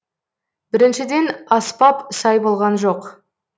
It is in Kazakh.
біріншіден аспап сай болған жоқ